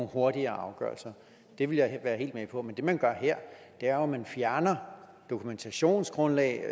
hurtige afgørelser det ville være helt med på men det man gør her er jo at man fjerner dokumentationsgrundlag